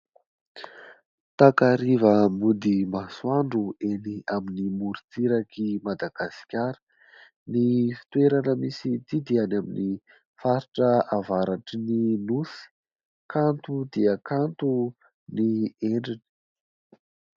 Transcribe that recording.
Takariva mody masoandro eny amin'ny morotsirak'i Madagasikara. Ny fitoerana misy an'ity dia any amin'ny faritra avaratry ny nosy. Kanto dia kanto ny endriny.